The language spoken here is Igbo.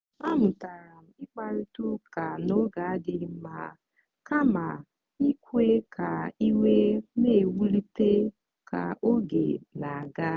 a mụtara m ịkparịta ụka n'oge adịghị mma kama ikwe ka iwe na-ewulite ka oge na-aga.